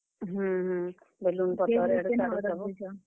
ହୁଁ, ହୁଁ ।